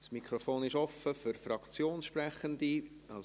Das Mikrofon ist für Fraktionssprechende offen.